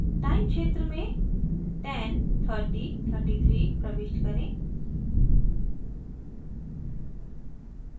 time क्षेत्र में 10:30:33 प्रविष्ट करें